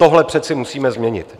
Tohle přece musíme změnit.